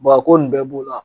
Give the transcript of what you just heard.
a ko nin bɛɛ b'o la.